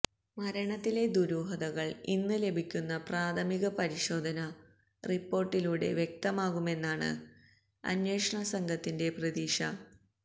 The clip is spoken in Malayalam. മരണത്തിലെ ദുരൂഹകള് ഇന്ന് ലഭിക്കുന്ന പ്രാഥമിക പരിശോധന റിപ്പോര്ട്ടിലൂടെ വ്യക്തമാകുമെന്നാണ് അന്വേഷണസംഘത്തിന്റെ പ്രതീക്ഷ